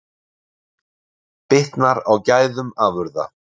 Bitnar á gæðum afurða